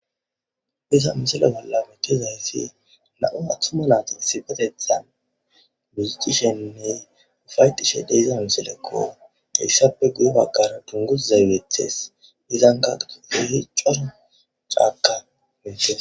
Iza misela bolla metiozayssi nau athuma naati sipetethan muzixishenne ufaytishe deiza miselekko issape guye baqara dungus zaybethes izankaquuihi coro caaka metea.